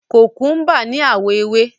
Kòkúḿbà ní àwọ̀ ewé.